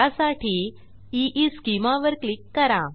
त्यासाठी ईस्केमा वर क्लिक करा